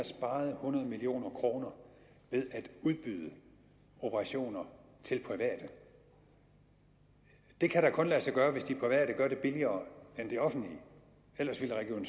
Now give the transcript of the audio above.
sparet hundrede million kroner ved at udbyde operationer til private det kan da kun lade sig gøre hvis de private gør det billigere end det offentlige ellers ville region